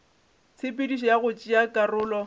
tshepedišo ya go tšea karolo